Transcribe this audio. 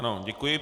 Ano, děkuji.